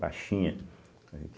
Baixinha.